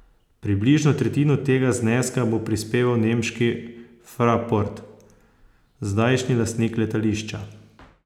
Približno tretjino tega zneska bo prispeval nemški Fraport, zdajšnji lastnik letališča.